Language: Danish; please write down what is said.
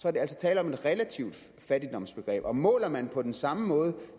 er der altså tale om et relativt fattigdomsbegreb og måler man på den samme måde